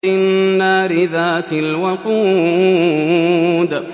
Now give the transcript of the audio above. النَّارِ ذَاتِ الْوَقُودِ